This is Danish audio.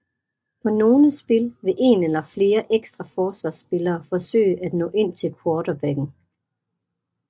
På nogle spil vil en eller flere ekstra forsvarsspillere forsøge at nå ind til quarterbacken